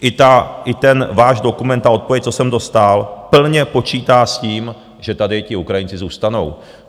I ten váš dokument, ta odpověď, co jsem dostal, plně počítá s tím, že tady ti Ukrajinci zůstanou.